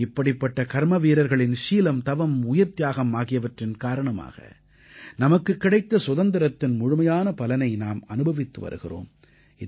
இப்படிப்பட்ட கர்மவீரர்களின் சீலம் தவம் உயிர்த்தியாகம் ஆகியவற்றின் காரணமாக நமக்குக் கிடைத்த சுதந்திரத்தின் முழுமையான பலனை நாம் அனுபவித்து வருகிறோம்